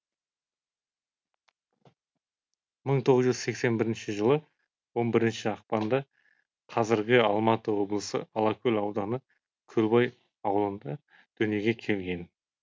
мың тоғыз жүз сексен бірінші жылы он бірінші ақпанда қазіргі алматы облысы алакөл ауданы көлбай аулында дүниеге келген